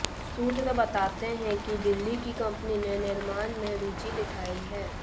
सूत्र बताते हैं कि दिल्ली की कंपनी ने निर्माण में रुचि दिखाई है